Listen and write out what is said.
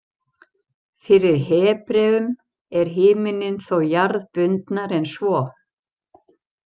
Fyrir Hebreum er himinninn þó „jarðbundnari“ en svo.